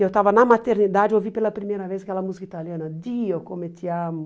Eu estava na maternidade e ouvi pela primeira vez aquela música italiana, Dio come ti amo.